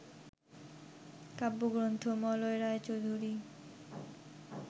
কাব্যগ্রন্থ - মলয় রায়চৌধুরী